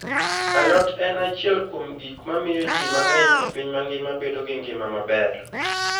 Alot en achiel kuom gik mamiyo ji mang'eny e piny mangima bedo gi ngima maber.